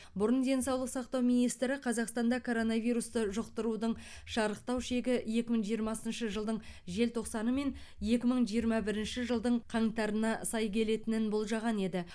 бұрын денсаулық сақтау министрі қазақстанда коронавирусты жұқтырудың шарықтау шегі екі мың жиырмасыншы жылдың желтоқсаны мен екі мың жиырма бірінші жылдың қаңтарына сай келетінін болжаған еді